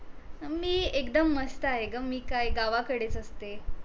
मी एकदम मस्त आहे ग मी काय गावा कडेच असते